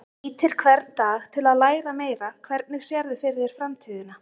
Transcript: Nýtir hvern dag til að læra meira Hvernig sérðu fyrir þér framtíðina?